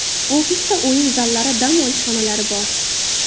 Ofisda o‘yin zallari, dam olish xonalari bor.